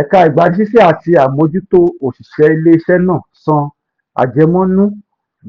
ẹ̀ka ìgbanisísẹ ati àmójútó òṣìṣẹ́ ilé-isẹ náà san àjẹmọ́nú